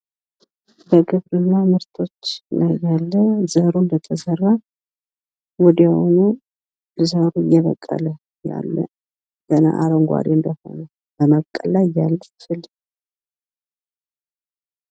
በግብርና ምርቶች ላይ ያለ ዘሩ እንደተዘራ ወዲያውኑ ዘሩ እየበቀለ ያለ ገና አረጓዴ እንደሆነ በመብቀል ላይ ያለ ፍል።